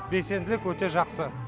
белсенділік өте жақсы